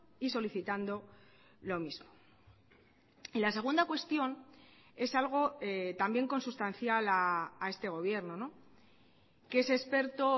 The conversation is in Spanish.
y solicitando lo mismo y la segunda cuestión es algo también consustancial a este gobierno que es experto